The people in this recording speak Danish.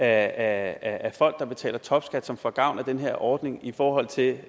af folk der betaler topskat som får gavn af den her ordning i forhold til